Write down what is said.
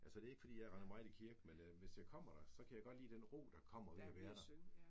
Altså det ikke fordi jeg render meget i kirke men hvis jeg kommer der så kan jeg godt lide den ro der kommer ved at være der